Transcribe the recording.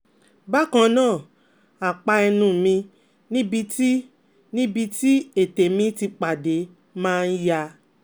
Bakannaa apa ẹnu mi níbi tí níbi tí ẹ̀tè mi ti pade ma n yá